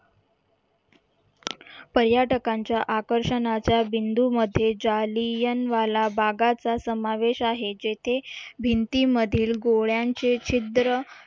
पर्यटकांच्या आकर्षणाचा बिंदूमध्ये जालियनवाला बागाचा समावेश आहे जेथे भिंतीमधील गोळ्यांचे छिद्र